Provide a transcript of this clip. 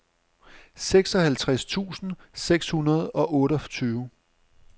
seksoghalvtreds tusind seks hundrede og otteogtyve